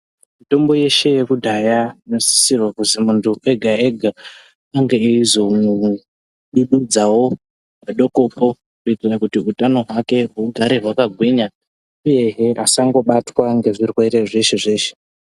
Mitombo yeshe yekudhaya inosisirwa kuzi muntu ega-ega ange eizodududzawo padokopo kuitira kuti utano hwake hugare hwakagwinya uyehe vasangobatwa ngezvirwere zveshe-zveshe.